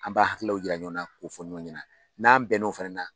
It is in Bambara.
An b' hakili yira ɲɔgɔn na k'o fɔ ɲɔgɔn ɲɛna n'an bɛn n'o fɛnɛ na.